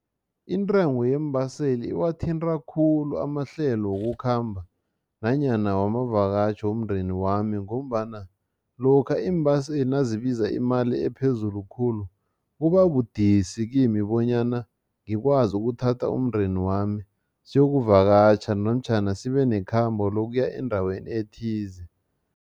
Intengo yeembaseli iwathinta khulu amahlelo wokukhamba nanyana wamavakatjho womndeni wami ngombana lokha iimbaseli nazibiza imali ephezulu khulu, kubabudisi kimi bonyana ngikwazi ukuthatha umndeni wami siyokuvakatjha namtjhana sibe nekhambo lokuya endaweni ethize.